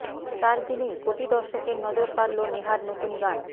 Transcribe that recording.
চার দিনেই কোটি দর্শকের নজর কাড়লো নেহার নতুন গান